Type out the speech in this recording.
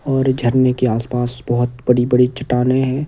और झरने के आसपास बहुत बड़ी-बड़ी चट्टानें हैं।